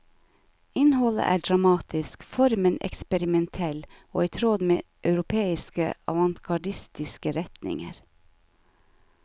Innholdet er dramatisk, formen eksperimentell og i tråd med europeiske avantgardistiske retninger.